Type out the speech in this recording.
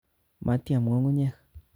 Matiam ngungunyek